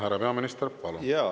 Härra peaminister, palun!